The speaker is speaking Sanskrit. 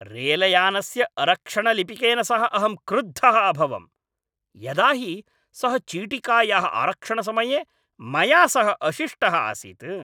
रेलयानस्य अरक्षणलिपिकेन सह अहं क्रुद्धः अभवम्, यदा हि सः चीटिकायाः आरक्षणसमये मया सह अशिष्टः आसीत्।